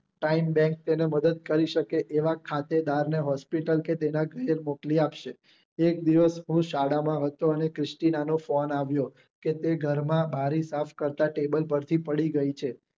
time bank તેને મદ્દદ કરી શકે અને ખાતે બાર ને hospital કે તેના ઘરે મોકલી આપશે એક દિવસ હું શાળા માં હતો અને ક્રિશ્ટિનાનો phone આવ્યો કે તે ઘરમાં બારી સાફ કરતા કરતા table પરથી પડી ગઈ છે